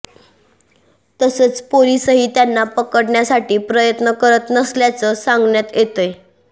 तसंच पोलीसही त्यांना पकडण्यासाठी प्रयत्न करत नसल्याचं सांगण्यात येतंय